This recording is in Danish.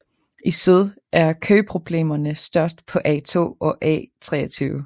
I syd er køproblemerne størst på A2 og A23